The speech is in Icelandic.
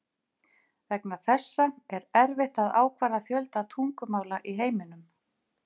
Vegna þessa er erfitt að ákvarða fjölda tungumála í heiminum.